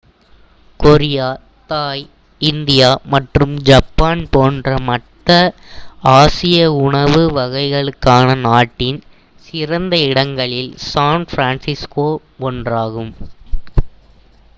Korea Thai India மற்றும் Japan போன்ற மற்ற ஆசிய உணவு வகைகளுக்கான நாட்டின் சிறந்த இடங்களில் சான் பிரான்சிஸ்கோ ஒன்றாகும்